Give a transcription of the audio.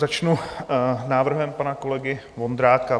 Začnu návrhem pana kolegy Vondráka.